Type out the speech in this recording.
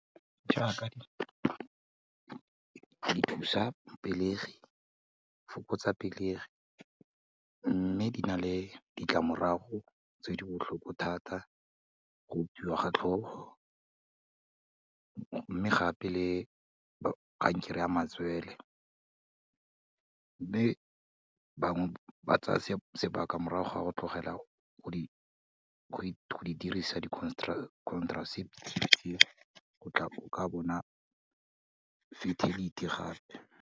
Jaaka di thusa pelegi, fokotsa pelegi mme di na le ditlamorago tse di botlhoko thata, go opiwa ga tlhogo mme gape le kankere ya matsele, mme bangwe ba tsaya sebaka morago ga go tlogela go di dirisa di-contraceptive tse, o ka bona fertility gape.